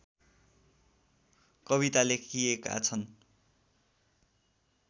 कविता लेखिएका छन्